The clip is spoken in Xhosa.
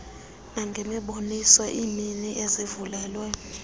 nangemiboniso iimini ezivulelwe